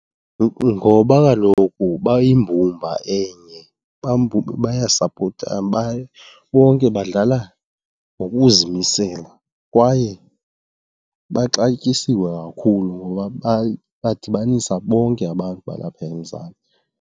Ngoba kaloku bayimbumba enye, bayayisapotana, bonke badlala ngokuzimisela kwaye baxatyisiwe kakhulu ngoba badibanisa bonke abantu balapha eMzantsi.